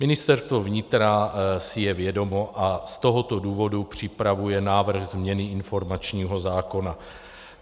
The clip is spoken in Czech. Ministerstvo vnitra si je vědomo a z tohoto důvodu připravuje návrh změny informačního zákona.